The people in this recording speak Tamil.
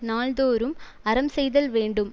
நாள்தோறும் அறம் செய்தல் வேண்டும்